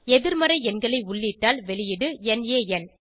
எதிர்மறை எண்களை உள்ளிட்டால் வெளியீடு நான்